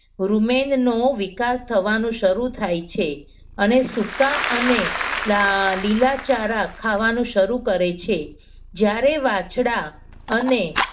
રૂમેનનો વિકાસ થવાનું શરૂ થાય છે. અને સૂકા અને લીલાચારા ખાવાનું શરૂ કરે છે. જ્યારે વાછડા અને